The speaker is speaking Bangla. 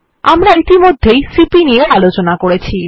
আমরা ইতিমধ্যে সিপি নিয়ে আলোচনা করেছি